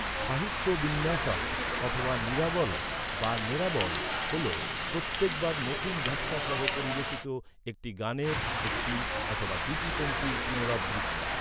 সাহিত্য বিন্যাসম্ অথবা নিরাবল বা নেরাবল হল, প্রত্যেকবার নতুন ব্যাখা সহ পরিবেশিত, একটি গানের একটি অথবা দুটি পংক্তির পুনরাবৃত্তি।